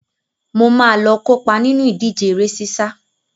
Mo máa lọ kópa nínú ìdíje eré sísá.